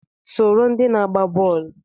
Soro ndị na-agba bọọlụ!